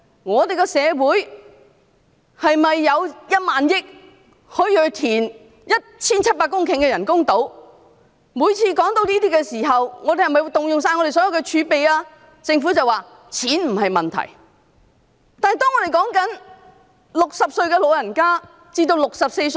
我們的社會可以有1萬億元用來填海造 1,700 公頃的人工島，而每次談到這些項目時，我們便問政府是否將動用香港所有的儲備？